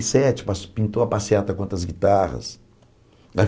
e sete pas pintou a passeata com outras guitarras né.